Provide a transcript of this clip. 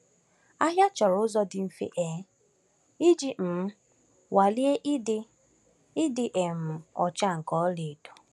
Ahịa chọrọ ụzọ dị mfe um iji um nwalee ịdị ịdị um ọcha nke ọlaedo.